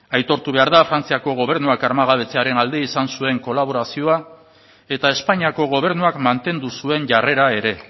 aitortu behar da frantziako gobernuak armagabetzearen aldi izan zuen kolaborazioa eta espainiako gobernuak mantendu zuen jarrera ere